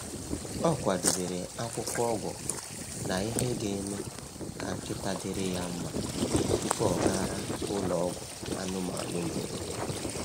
Ọ kwadebere akwụkwọ ọgwụ na ihe ga-eme ka nkịta dịrị ya mma tupu ọ gara ụlọ ọgwụ anụmanụ mberede.